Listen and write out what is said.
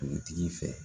Dugutigi fɛ